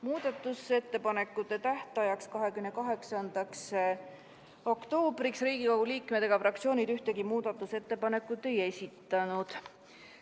Muudatusettepanekute tähtajaks, 28. oktoobriks Riigikogu liikmed ega fraktsioonid ühtegi muudatusettepanekut ei esitanud.